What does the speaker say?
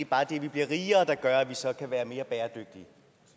bare er det at vi bliver rigere der gør at vi så kan være mere bæredygtige